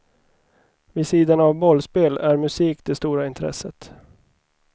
Vid sidan av bollspel är musik det stora intresset.